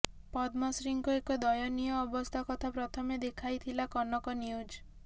ପଦ୍ମଶ୍ରୀଙ୍କ ଏ ଦୟନୀୟ ଅବସ୍ଥା କଥା ପ୍ରଥମେ ଦେଖାଇଥିଲା କନକ ନ୍ୟୁଜ